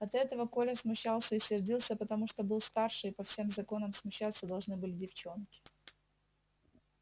от этого коля смущался и сердился потому что был старше и по всем законам смущаться должны были девчонки